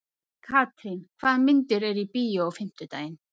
Katrín, hvaða myndir eru í bíó á fimmtudaginn?